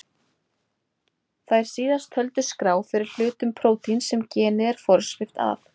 Þær síðast töldu skrá fyrir hlutum prótíns sem genið er forskrift að.